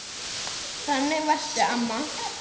Þannig varstu, amma.